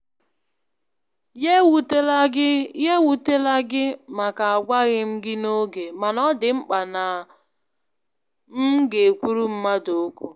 Ya ewutela gị Ya ewutela gị màkà agwaghị m gị n'oge, mana ọ dị mkpa na m ga-ekwuru mmadụ ókwú.